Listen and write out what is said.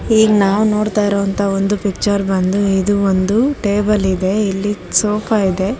ಈಗ ನಾವ್ ನೋಡ್ತಾ ಇರೋ ಅಂತ ಒಂದು ಪಿಚ್ಚರ್ ಬಂದ ಇದು ಒಂದು ಟೇಬಲ್ ಇದೆ ಇಲ್ಲಿ ಸೋಫಾ ಇದೆ.